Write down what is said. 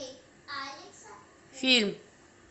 фильм